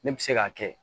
Ne bɛ se k'a kɛ